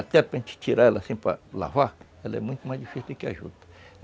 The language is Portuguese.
Até para gente tirar ela assim para lavar, ela é muito mais difícil do que a juta.